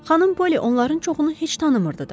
Xanım Polli onların çoxunu heç tanımırdı da.